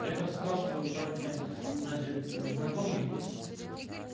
я там спрашиваю короче значит знакомый есть